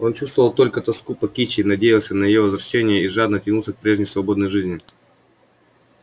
он чувствовал только тоску по кичи надеялся на её возвращение и жадно тянулся к прежней свободной жизни